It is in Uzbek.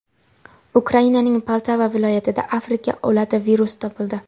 Ukrainaning Poltava viloyatida Afrika o‘lati virusi topildi.